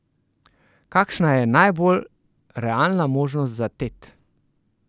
Kakšna je najbolj realna možnost za Tet?